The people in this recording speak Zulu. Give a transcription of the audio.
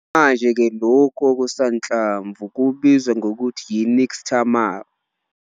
Manje ke lokhu okusanhlamvu kubizwa ngokuthi yi-nixtamal.